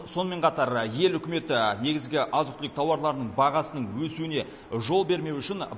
сонымен қатар ел үкіметі негізгі азық түлік тауарларының бағасының өсуіне жол бермеу үшін